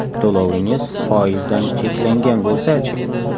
To‘lovingiz foizdan cheklangan bo‘lsachi?